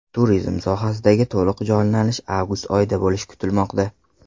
Turizm sohasidagi to‘liq jonlanish avgust oyida bo‘lishi kutilmoqda.